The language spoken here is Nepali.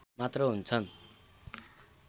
मात्र हुन्छन्